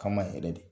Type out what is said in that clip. K'an ma yɛrɛ de